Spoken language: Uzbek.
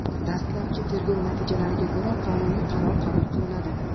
Dastlabki tergov natijalariga ko‘ra, qonuniy qaror qabul qilinadi.